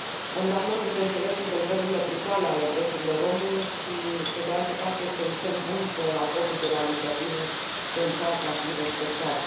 Condamnăm, bineînțeles, încălcările brutale ale drepturilor omului și, pe de altă parte, este un semn bun că acordul de la Libreville se încearcă a fi respectat.